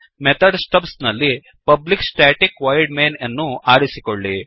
method stubs ನಲ್ಲಿpublic static void main ಅನ್ನು ಆರಿಸಿಕೊಳ್ಳಿ